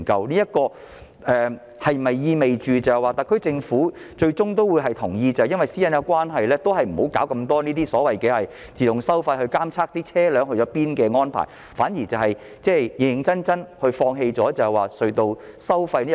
這是否意味特區政府最終會同意基於私隱關係，不再搞太多這類自動收費系統監察車輛的去向，反而會認真地考慮放棄隧道收費呢？